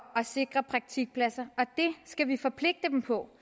at sikre praktikpladser og det skal vi forpligte dem på